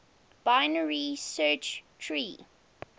binary search tree